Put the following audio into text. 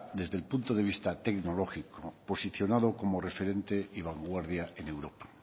desde el punto de vista tecnológico posicionado como referente y vanguardia en europa